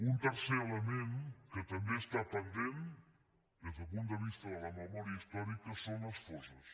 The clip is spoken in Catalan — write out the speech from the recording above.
un tercer element que també està pendent des del punt de vista de la memòria històrica són les fosses